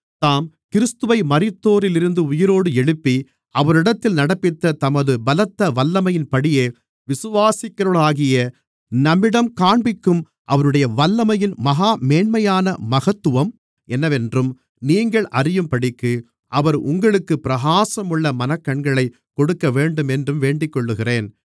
தாம் கிறிஸ்துவை மரித்தோரிலிருந்து உயிரோடு எழுப்பி அவரிடத்தில் நடப்பித்த தமது பலத்த வல்லமையின்படியே விசுவாசிக்கிறவர்களாகிய நம்மிடம் காண்பிக்கும் அவருடைய வல்லமையின் மகா மேன்மையான மகத்துவம் என்னவென்றும் நீங்கள் அறியும்படிக்கு அவர் உங்களுக்குப் பிரகாசமுள்ள மனக்கண்களைக் கொடுக்கவேண்டும் என்றும் வேண்டிக்கொள்ளுகிறேன்